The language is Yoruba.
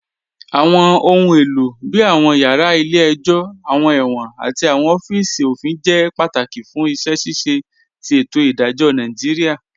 Awọn ọ̀hun èlo bíi awọn yara ilẹ̀-ẹ̀jọ, awọn èwọ̀n, àti awọn ọ̀fíìsì ofin jẹ́ pátákì fún iṣẹ́ ṣíṣẹ̀ tì ètò idajọ̀ Nàìjíríà